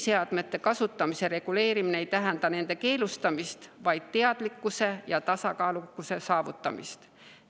Nutiseadmete kasutamise reguleerimine ei tähenda nende keelustamist, vaid teadlikkuse ja tasakaalu saavutamist.